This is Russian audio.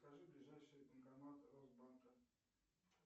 скажи ближайший банкомат росбанка